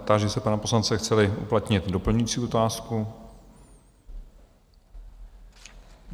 Táži se pana poslance, chce-li uplatnit doplňující otázku.